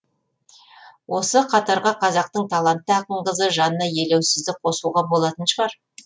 осы қатарға қазақтың талантты ақын қызы жанна елеусізді қосуға болатын шығар